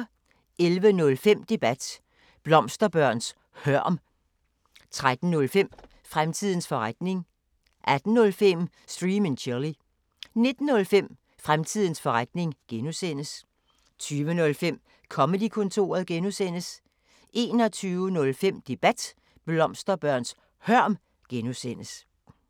11:05: Debat: Blomsterbørns hørm 13:05: Fremtidens forretning 18:05: Stream & Chill 19:05: Fremtidens forretning (G) 20:05: Comedy-kontoret (G) 21:05: Debat: Blomsterbørns hørm (G)